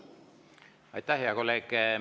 Aitäh, hea kolleeg!